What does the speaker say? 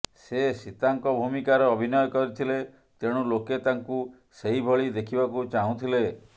ସେ ସୀତାଙ୍କ ଭୂମିକାରେ ଅଭିନୟ କରିଥିଲେ ତେଣୁ ଲୋକେ ତାଙ୍କୁ ସେହି ଭଳି ଦେଖିବାକୁ ଚାହୁଁଥିଲେ